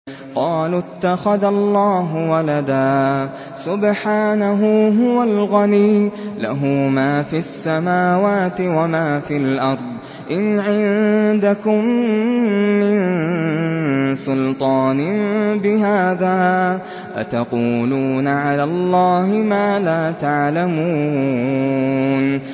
قَالُوا اتَّخَذَ اللَّهُ وَلَدًا ۗ سُبْحَانَهُ ۖ هُوَ الْغَنِيُّ ۖ لَهُ مَا فِي السَّمَاوَاتِ وَمَا فِي الْأَرْضِ ۚ إِنْ عِندَكُم مِّن سُلْطَانٍ بِهَٰذَا ۚ أَتَقُولُونَ عَلَى اللَّهِ مَا لَا تَعْلَمُونَ